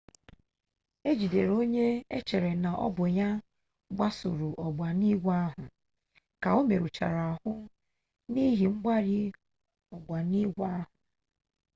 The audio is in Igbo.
ejidere onye echere na ọbụ ya gbasuru ogbunigwe ahụ ka omerụchara ahụ n'ihi mgbari ogbunigwe ahụ